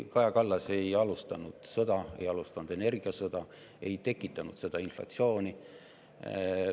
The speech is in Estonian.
Kaja Kallas ei alustanud sõda, ei alustanud energiasõda, ei tekitanud seda inflatsiooni.